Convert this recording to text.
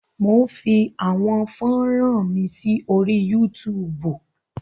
Mò ń fi àwọn fọ́ran mi sí orí Yúutùùbù.